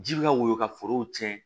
Ji bɛ ka woyo ka forow tiɲɛ